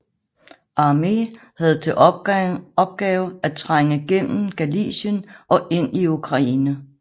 Armée havde til opgave at trænge gennem Galicien og ind i Ukraine